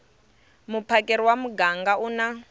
muphakeri wa muganga u na